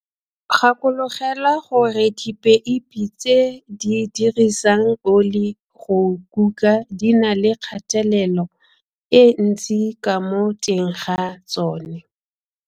Gakologelwa gore dipeipi tse di dirisang oli go kuka di na le kgatelelo e ntsi ka mo teng ga tsona.